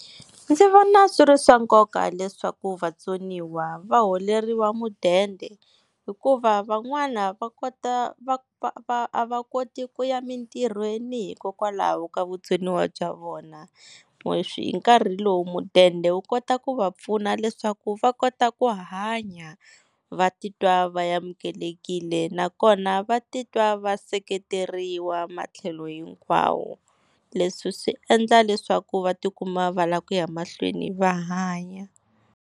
Ndzi vona swi ri swa nkoka leswaku vatsoniwa va holeriwa mudende hikuva van'wana va kota a va koti ku ya emintirhweni hikokwalaho ka vutsoniwa bya vona. Hi nkarhi lowu mudende wu kota ku va pfuna leswaku va kota ku hanya, va titwa va amukelekile nakona va titwa va seketeriwa matlhelo hinkwawo. Leswi swi endla leswaku va tikuma va lava ku ya mahlweni va hanya.